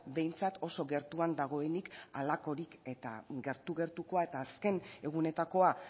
behintzat oso gertuan dagoenik halakorik eta gertu gertukoa eta azken egunetakoa